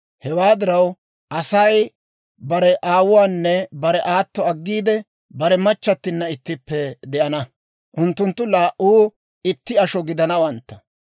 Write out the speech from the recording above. Hewaa diraw Asay bare aawuwaanne bare aatto aggiide, bare machchattinna ittippe de'ana; unttunttu laa"u itti asho gidanawantta.